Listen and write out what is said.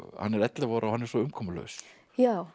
hann er ellefu ára og hann er svo umkomulaus já